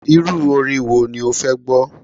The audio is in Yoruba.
Irú orin wo ni o fẹ́ gbọ́?